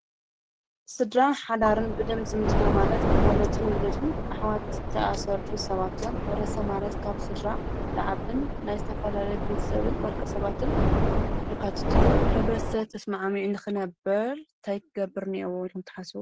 ስድራ ሓዳርን ብደም ዝምድና ማለት ወለድን ውላድም ኣሕዋት ተኣሳሰርሉ ሰባት እዮም፡፡ ሕ/ሰብ ማለት ካብ ስድራ ልዓብን ናይ ዝተፈላለየ ቤ/ሰብን ወልቀ ሰባትን ለካትት አዩ፡፡ ሕ/ሰብ ተስምዕሚዑ ንኽነበር ታይ ክገብር ኔሄዎ ትሓስቡ?